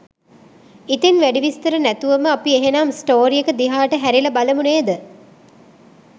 ඉතින් වැඩි විස්තර නැතුවම අපි එහෙනම් ස්ටෝරි එක දිහාට හැරිලා බලමු නේද?